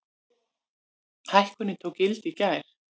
Hækkunin tók gildi í gær.